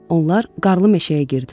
Onlar qarlı meşəyə girdilər.